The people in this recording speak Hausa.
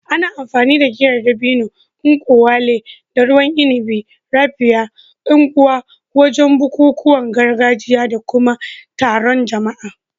Ana amfani da Giyar dabino (nkwu elu) da ruwan inabi "Raphia" (Ngwo) wajen bukukuwan gargajiya da kuma taron jama'a.